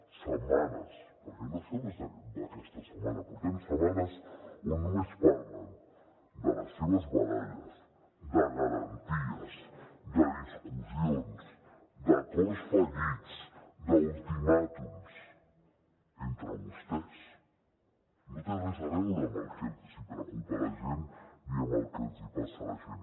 setmanes perquè això no és d’aquesta setmana portem setmanes on només parlen de les seves baralles de garanties de discussions d’acords fallits d’ultimàtums entre vostès no té res a veure amb el que els preocupa a la gent ni amb el que els passa a la gent